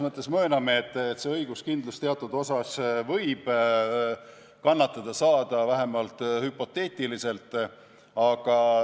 Me mööname, et õiguskindlus teatud osas võib kannatada saada, vähemalt hüpoteetiliselt.